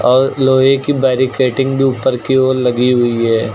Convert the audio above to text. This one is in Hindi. और लोहे की बेरीकेडिंग भी ऊपर की ओर लगी हुई है।